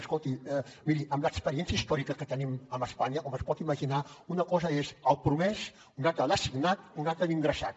escolti miri amb l’experiència històrica que tenim amb espanya com es pot imaginar una cosa és el promès una altra l’assignat una altra l’ingressat